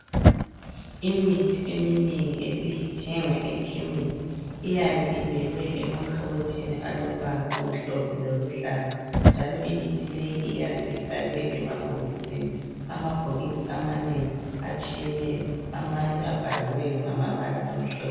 Imithi eminengi esiyithenga ekhemisi iyabe ibekwe emakhabothini alombala omhlophe loluhlaza, njalo imithi leyi iyabe ifakwe emabhokisini .Amabhokisi amanengi atshiyeneyo amanye abhaliweyo ngamabala amhlophe.